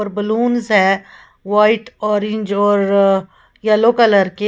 Balloons है white orange और yellow colour के।